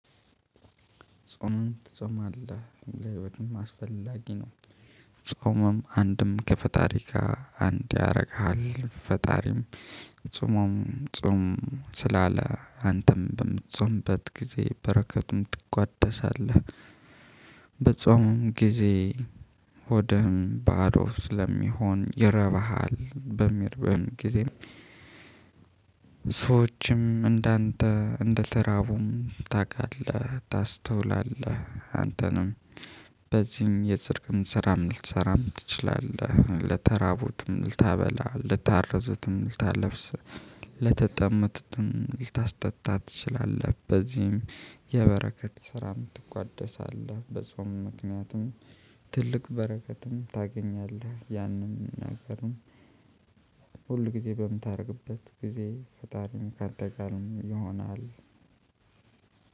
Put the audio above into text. ጾምም ትጾማለህ ለህይወትም አስፈላጊ ነው። ጾምም አንድም ከፈጣሪ ጋር አንድ ያደርግሃል ፈጣሪም ጾሞም ጾም ስላለ አንተም በምትጾምበት ጊዜ በረከቱም ትቋደሳለህ። በጾሙም ጊዜ ሆድህ ባዶ ስለሚሆን ይርብሀል በሚርበን ጊዜ ሰዎችም እንዳንተ እንደተራቡም ታውቃለህ ታስተውላለህ። አንተንም በዚህም የፅድቅም ስራም ልትሰራም ትችላለህ ልተራቡትም ልታበላ ልታረዝትም ልታለብስ ለተጠሙትም ልታስጠጣ ትችላለህ። በዚህም የበረከት ስራም ትቋደሳለህ በጾም ምክንያትም ትልቅ በረከትም ታገኛለህ። ያንም አገርም ሁል ጊዜ በምታደርግበት ጊዜ ፈጣሪም ከአንተ ጋር ይሆናል።